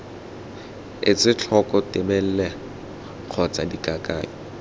etse tlhoko tebelelo kgotsa dikakanyo